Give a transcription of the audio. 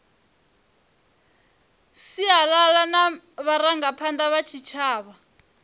sialala na vharangaphanda vha tshitshavha